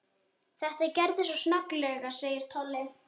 Þetta gerðist svo snögglega segir Tolli.